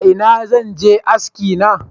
Ina zan je aski na?